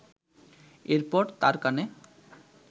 এরপর তার কানে